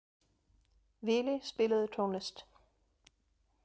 Vili, spilaðu tónlist.